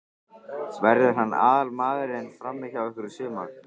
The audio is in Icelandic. Verður hann aðalmaðurinn frammi hjá ykkur í sumar?